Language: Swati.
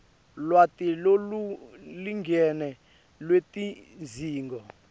lwati lolulingene lwetidzingo